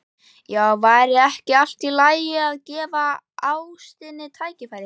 Já, væri ekki allt í lagi að gefa ástinni tækifæri?